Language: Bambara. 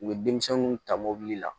U bɛ denmisɛnninw ta mobili la